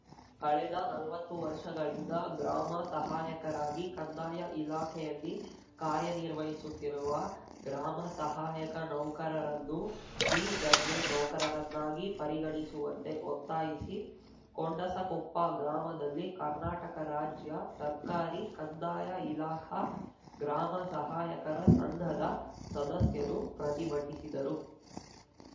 ಕಳೆದ ನಲ್ವತ್ತು ವರ್ಷಗಳಿಂದ ಗ್ರಾಮ ಸಹಾಯಕರಾಗಿ ಕಂದಾಯ ಇಲಾಖೆಯಲ್ಲಿ ಕಾರ್ಯನಿರ್ವಹಿಸುತ್ತಿರುವ ಗ್ರಾಮ ಸಹಾಯಕ ನೌಕರರನ್ನು ಡಿ ದರ್ಜೆ ನೌಕರರನ್ನಾಗಿ ಪರಿಗಣಿಸುವಂತೆ ಒತ್ತಾಯಿಸಿ ಕೊಂಡಸಕೊಪ್ಪ ಗ್ರಾಮದಲ್ಲಿ ಕರ್ನಾಟಕ ರಾಜ್ಯ ಸರ್ಕಾರಿ ಕಂದಾಯ ಇಲಾಖಾ ಗ್ರಾಮ ಸಹಾಯಕರ ಸಂಘದ ಸದಸ್ಯರು ಪ್ರತಿಭಟಿಸಿದರು